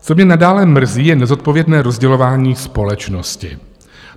Co mě nadále mrzí, je nezodpovědné rozdělování společnosti.